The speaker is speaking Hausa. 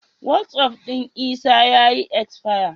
Wasi'of ɗin Isa ya yi isfayarin.